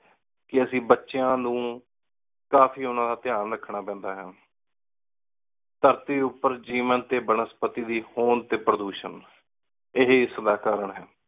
ਕ ਅੱਸੀ ਬਚਯਾ ਨੌ ਕਾਫੀ ਓਹਨਾ ਦਾ ਟੀਂ ਰਖਣਾ ਪੀਂਦਾ ਹੈ ਧਰਤੀ ਉਪਰ ਜੇਵਾਂ ਟੀ ਬਨਸਪਤੀ ਦੀ ਹੋਣ ਟੀ ਪਰ੍ਦੋਸ਼ਨ ਏਹੀ ਏਸ ਦਾ ਕਾਰਨ ਹੈ